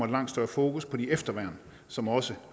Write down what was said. langt større fokus på det efterværn som også